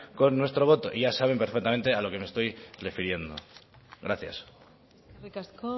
con nuestro voto y ya saben perfectamente a lo que me estoy refiriendo gracias eskerrik asko